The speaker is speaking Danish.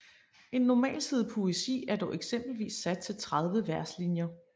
En normalside poesi er dog eksempelvis sat til 30 verslinjer